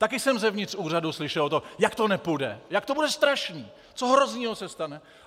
Taky jsem zevnitř úřadu slyšel to, jak to nepůjde, jak to bude strašný, co hroznýho se stane!